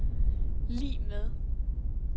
lig med